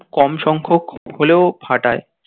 খুব কম সংখ্যক হলেও ফাটায়